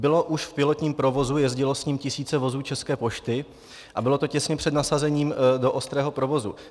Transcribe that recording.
Bylo už v pilotním provozu, jezdilo s ním tisíce vozů České pošty a bylo to těsně před nasazením do ostrého provozu.